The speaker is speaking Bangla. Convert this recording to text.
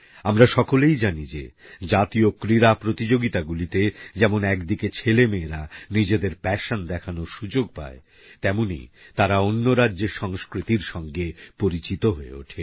আমরা সকলেই জানি যে জাতীয় ক্রীড়া প্রতিযোগিতাগুলি তে যেমন একদিকে ছেলে মেয়েরা নিজেদের প্যাশন দেখানোর সুযোগ পায় তেমনই তারা অন্য রাজ্যের সংস্কৃতির সঙ্গে পরিচিত হয়ে ওঠে